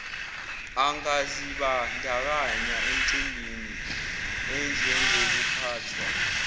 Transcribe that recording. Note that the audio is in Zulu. angazibandakanya emicimbini enjengokuphathwa